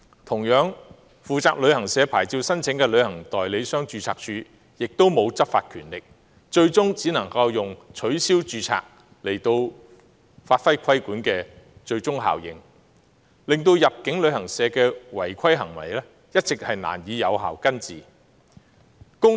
同樣地，負責旅行社牌照申請的註冊處也沒有執法權力，最終只能以取消註冊來發揮規管的最終效應，導致入境旅行社的違規行為一直難以有效根治。